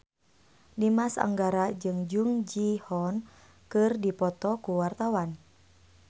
Dimas Anggara jeung Jung Ji Hoon keur dipoto ku wartawan